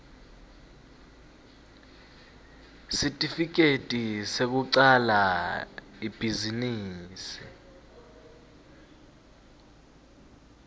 sitifiketi sekucala ibhizinisi